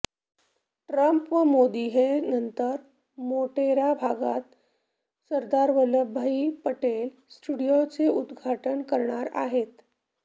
Trump व मोदी हे नंतर मोटेरा भागात सरदार वल्लभभाई पटेल स्टेडियमचे उद्घाटन करणार आहेत